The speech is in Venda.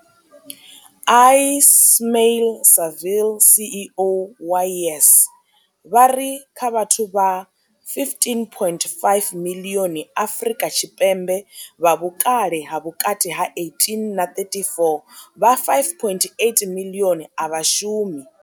Ismail-Saville CEO wa YES, vha ri kha vhathu vha 15.5 miḽioni Afrika Tshipembe vha vhukale ha vhukati ha 18 na 34, vha 5.8 miḽioni a vha shumi.